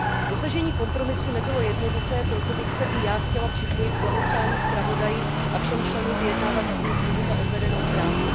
Dosažení kompromisu nebylo jednoduché, proto bych se i já chtěla připojit k blahopřání zpravodaji a všem členům vyjednávacího týmu za odvedenou práci.